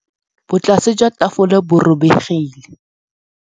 Botlasê jwa tafole bo robegile.